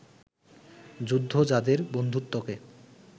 যুদ্ধ যাঁদের বন্ধুত্বকে